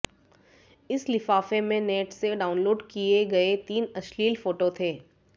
इस लिफाफे में नेट से डाउनलोड किए गए तीन अश्लील फोटो थे